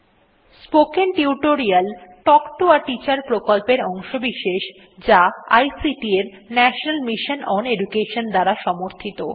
spoken tutorial talk to a teacher প্রকল্পের অংশবিশেষ যা আইসিটি এর ন্যাশনাল মিশন ওন এডুকেশন দ্বারা সাহায্যপ্রাপ্ত